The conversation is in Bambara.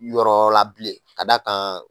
Yɔrɔ la bilen ka d'a kan